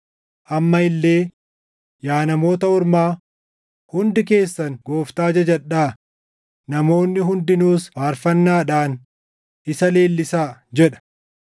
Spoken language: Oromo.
Amma illee, “Yaa Namoota Ormaa, hundi keessan Gooftaa jajadhaa; namoonni hundinuus faarfannaadhaan isa leellisaa” + 15:11 \+xt Far 117:1\+xt* jedha.